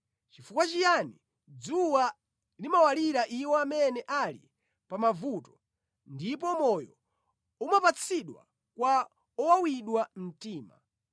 “Chifukwa chiyani dzuwa limawalira iwo amene ali pa mavuto, ndipo moyo umapatsidwa kwa owawidwa mtima,